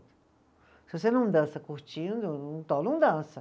Se você não dança curtindo, então não dança.